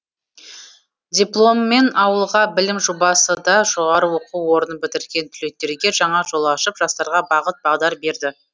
дипломмен ауылға білім жобасы да жоғары оқу орнын бітірген түлектерге жаңа жол ашып жастарға бағыт бағдар берді